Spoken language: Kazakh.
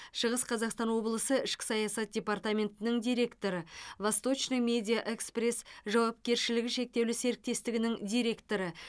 шығыс қазақстан облысы ішкі саясат департаментінің директоры восточный медиа экспресс жауапкершілігі шектеулі серіктестігінің директоры